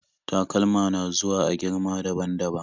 Takalma na zuwa a girma daban-daban